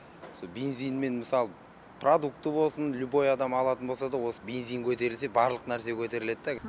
со бензинмен мысалы продукты болсын любой адам алатын болса да осы бензин көтерілсе барлық нәрсе көтеріледі да